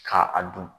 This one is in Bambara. Ka a dun